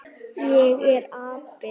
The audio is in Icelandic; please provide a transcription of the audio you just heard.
Ég er api.